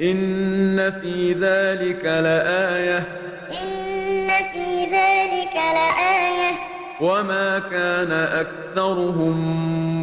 إِنَّ فِي ذَٰلِكَ لَآيَةً ۖ وَمَا كَانَ أَكْثَرُهُم